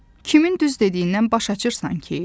Kimin düz dediyindən baş açırsan ki?